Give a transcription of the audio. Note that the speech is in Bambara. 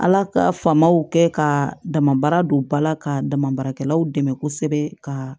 Ala ka famaw kɛ ka dama baara don ba la ka dama baarakɛlaw dɛmɛ kosɛbɛ ka